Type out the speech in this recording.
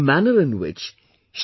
The manner in which Sh